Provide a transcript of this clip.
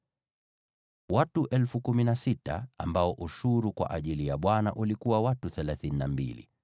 Watu 16,000 ambao ushuru kwa ajili ya Bwana ulikuwa watu 32.